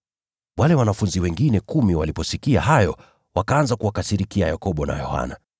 Wale wanafunzi wengine kumi waliposikia hayo, wakaanza kuwakasirikia Yakobo na Yohana.